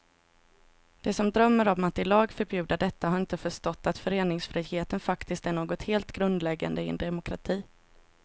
De som drömmer om att i lag förbjuda detta har inte förstått att föreningsfriheten faktiskt är något helt grundläggande i en demokrati.